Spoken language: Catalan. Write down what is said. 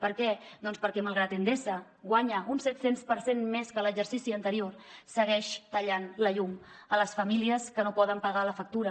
per què doncs perquè malgrat que endesa guanya un set cents per cent més que en l’exercici anterior segueix tallant la llum a les famílies que no poden pagar la factura